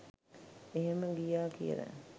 එහෙම ගියා කියලා